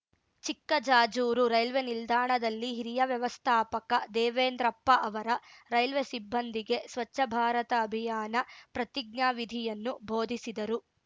Chikkajajur railway ನಿಲ್ದಾಣದಲ್ಲಿ ಹಿರಿಯ ವ್ಯವಸ್ಥಾಪಕ ದೇವೆಂದ್ರಪ್ಪ ಅವರ ರೈಲ್ವೆ ಸಿಬ್ಬಂದಿಗೆ ಸ್ವಚ್ಛ ಭಾರತ ಅಭಿಯಾನ ಪ್ರತಿಜ್ಞವಿಧಿಯನ್ನು ಭೋಧಿಸಿದರು